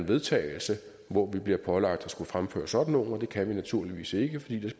vedtagelse hvor vi bliver pålagt at skulle fremføre sådan nogle og det kan vi naturligvis ikke fordi